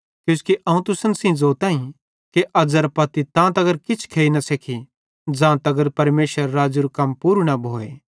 किजोकि अवं तुसन सेइं ज़ोताईं कि अज़ेरां पत्ती तां तगर न किछ खेइ सेखी ज़ां तगर परमेशरेरे राज़्ज़ेरू कम पूरू न भोए